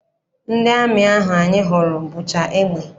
Ndị amị ahụ anyị hụrụ bucha egbe.